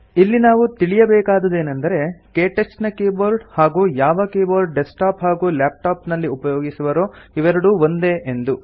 ಇಲ್ಲಿ ನಾವು ತಿಳಿಯಬೇಕಾದುದೇನೆಂದರೆ ಕ್ಟಚ್ ನ ಕೀಬೋರ್ಡ್ ಹಾಗೂ ಯಾವ ಕೀಬೋರ್ಡ್ ಡೆಸ್ಕ್ಟಾಪ್ಸ್ ಹಾಗೂ ಲಾಪ್ಟಾಪ್ಸ್ ನಲ್ಲಿ ಉಪಯೋಗಿಸುವರೋ ಇವೆರಡೂ ಒಂದೇ ಎಂದು